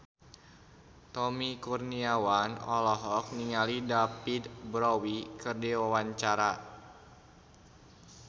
Tommy Kurniawan olohok ningali David Bowie keur diwawancara